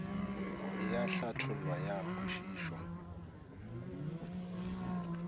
e a hlathollwa ya kwešišwa